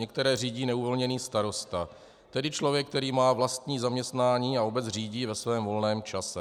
Některé řídí neuvolněný starosta, tedy člověk, který má vlastní zaměstnání a obec řídí ve svém volném čase.